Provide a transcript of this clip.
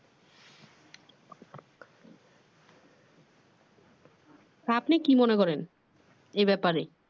আপনি কি মনে করেন এই বেপারে?